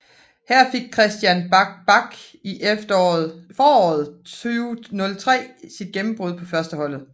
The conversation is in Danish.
Her fik Kristian Bach Bak i foråret 2003 sit gennembrud på førsteholdet